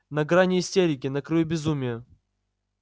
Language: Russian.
на грани истерики на краю безумия